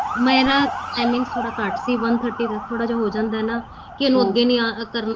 ਮੈਂ ਨਾ timing ਥੋੜਾ ਘੱਟ ਸੀ one thirty ਦਾ ਥੋੜਾ ਜਾ ਹੋ ਜਾਂਦਾ ਏ ਨਾ ਕੀ ਅੱਗੇ ਨੀਂ ਆ ਕਰਨਾ